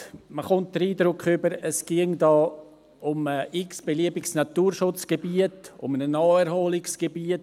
Man bekommt den Eindruck, es ginge da um ein x-beliebiges Naturschutzgebiet, nur um ein Naherholungsgebiet.